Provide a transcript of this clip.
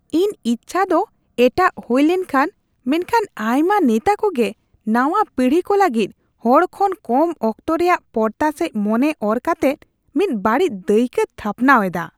ᱤᱧ ᱤᱪᱪᱷᱟ ᱫᱚ ᱮᱴᱟᱜ ᱦᱩᱭ ᱞᱮᱱᱠᱷᱟᱱ, ᱢᱮᱱᱠᱷᱟᱱ ᱟᱭᱢᱟ ᱱᱮᱛᱟ ᱠᱚᱜᱮ ᱱᱟᱣᱟ ᱯᱤᱲᱦᱤ ᱠᱚ ᱞᱟᱹᱜᱤᱫ ᱦᱚᱲ ᱠᱷᱚᱱ ᱠᱚᱢ ᱚᱠᱛᱚ ᱨᱮᱭᱟᱜ ᱯᱚᱨᱛᱟ ᱥᱮᱡ ᱢᱚᱱᱮ ᱚᱨ ᱠᱟᱛᱮᱜ ᱢᱤᱫ ᱵᱟᱹᱲᱤᱡ ᱫᱟᱹᱭᱠᱟᱹ ᱛᱷᱟᱯᱱᱟᱣ ᱮᱫᱟ ᱾